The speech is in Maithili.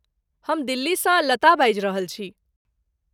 हम दिल्ली सँ लता बाजि रहल छी ।